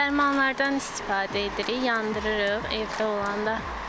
Dərmanlardan istifadə edirik, yandırırıq evdə olanı.